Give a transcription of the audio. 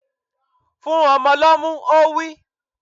Fún ọmọ lọ́mú! Ó wí.